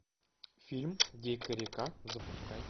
фильм дикая река запускай